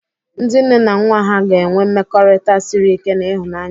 Ndị nne na nwa ha ga-enwe mmekọrịta siri ike na ịhụnanya.